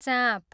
चाँप